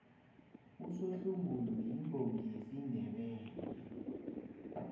usohlungulu yimbongi yesindebele